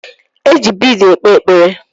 E ji biid ekpe ekpere.